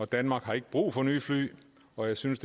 danmark har ikke brug for nye fly og jeg synes